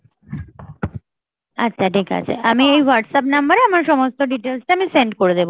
আচ্ছা ঠিক আছে, আমি এই WhatsApp number এ আমার সমস্ত details টা আমি send করে দেবো